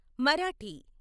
Marathi